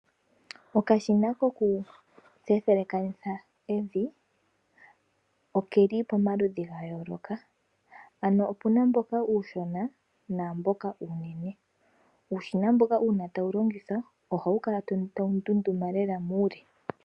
Okashina ko ku elekanitha evi oke li pomaludhu gayooloka, ano opuna mboka uushona, naamboka uunene. Uushina mboka uuna ta wu longithwa, oha wu kala ta wu ndunduma lela muule.